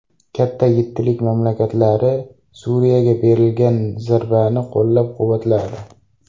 Katta yettilik mamlakatlari Suriyaga berilgan zarbani qo‘llab-quvvatladi.